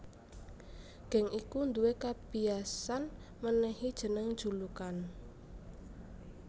Geng iku duwé kabiyasan mènèhi jeneng julukan